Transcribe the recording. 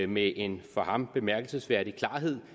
med en for ham bemærkelsesværdig klarhed